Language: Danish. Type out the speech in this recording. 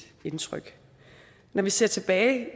indtryk når vi ser tilbage